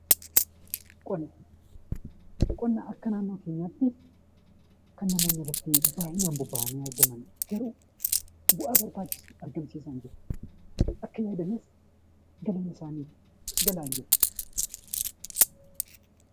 Qonna Qonna akka naannoo keenyaatti kan namoonni baayyinaan irratti bobba'anii jiraatan yemmuu ta'u, bu'aa barbaachisu argamsiisaa hin jiru, akka eegamus kennaa hin jiru galmi isaanii gahaa hin jiru.